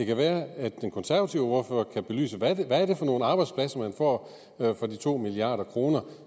kan være at den konservative ordfører kan belyse hvad det er for nogle arbejdspladser man får for de to milliard kr